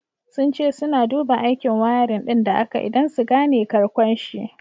Sun ce suna duba aikin wiring din da aka yi, don su gane karkonshi.